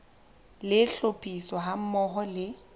le tlhophiso ha mmoho le